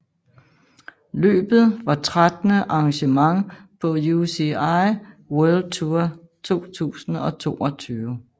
Løbet var trettende arrangement på UCI World Tour 2022